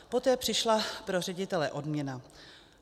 Poté přišla pro ředitele odměna.